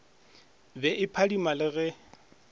be e phadima le ge